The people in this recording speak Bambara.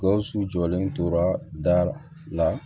Gawusu jɔlen tora da la